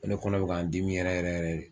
N ko ne kɔnɔ be k'a n dimi yɛrɛ yɛrɛ yɛrɛ re